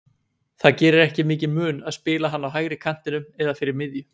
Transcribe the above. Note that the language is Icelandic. Það gerir ekki mikinn mun að spila hann á hægri kantinum eða fyrir miðju.